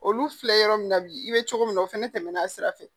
Olu filɛ yɔrɔ min na bi i bɛ cogo min na o fɛnɛ tɛmɛn'a sira fɛ